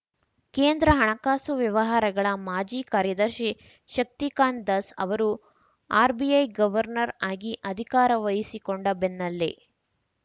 ಕೇಂದ್ರ ಹಣಕಾಸು ವ್ಯವಹಾರಗಳ ಮಾಜಿ ಕಾರ್ಯದರ್ಶಿ ಶಕ್ತಿಕಾಂತ್‌ ದಾಸ್‌ ಅವರು ಆರ್‌ಬಿಐ ಗವರ್ನರ್‌ ಆಗಿ ಅಧಿಕಾರ ವಹಿಸಿಕೊಂಡ ಬೆನ್ನಲ್ಲೇ